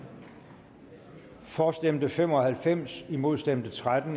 for stemte fem og halvfems imod stemte tretten